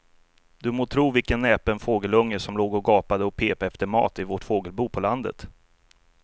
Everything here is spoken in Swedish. Du må tro vilken näpen fågelunge som låg och gapade och pep efter mat i vårt fågelbo på landet.